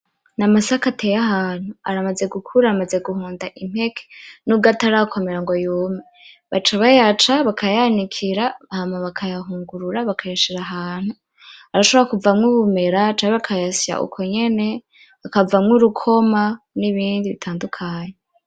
Ni amasaka ateye ahantu, aramaze gukura amaze guhonda impeke nubwo atarakomera ngo yume, baca bayaca bakayanikira hama bakayahungurura bakayashira ahantu arashobora kuvamwo ubumera canke bakayasya uko nyene akavamwo urukoma n'ibindi bitandukanye.